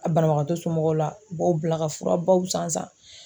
A banabagatɔ somɔgɔw la, u b'aw bila ka fura baw san san.